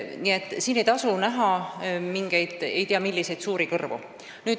Nii et siin ei tasu näha mingeid suuri kõrvu.